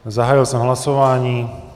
Zahájil jsem hlasování.